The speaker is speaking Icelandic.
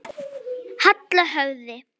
Halla höfði.